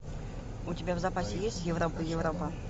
у тебя в запасе есть европа европа